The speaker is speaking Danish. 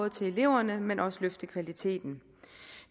til eleverne men også løfte kvaliteten